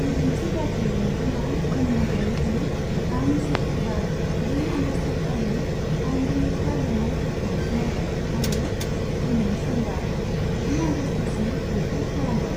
बिदिन्थि बादियै नोंथाङा बुंनो हायोदि, आं सुक्रुबार, ब्रै आगस्तखालि आइनबेरेखा लुनायफोरखौ नायबाय आरो दिनै समबार, जि आगस्तसिम बेखौ खालामबाय।